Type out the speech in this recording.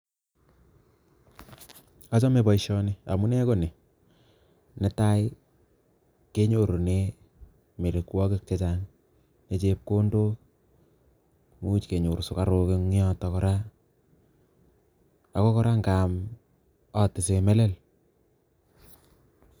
Achome boisioni, amune ko nii. Ne tai, kenyorune mirikwogik chechang' che chepkondok, imuch kenyor sukaruk eng' yotok kora. Ago kora, ng'aam atise melel